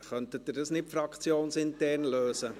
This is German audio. Könnten Sie das nicht fraktionsintern lösen?